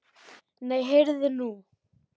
Nei, heyrðu.